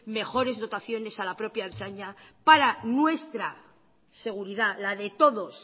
mejores dotaciones a la propia ertzaina para nuestra seguridad la de todos